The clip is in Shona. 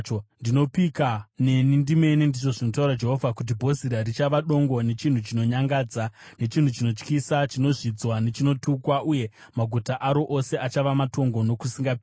Ndinopika neni ndimene,” ndizvo zvinotaura Jehovha, “kuti Bhozira richava dongo nechinhu chinonyangadza, nechinhu chinotyisa, chinozvidzwa nechinotukwa; uye maguta aro ose achava matongo nokusingaperi.”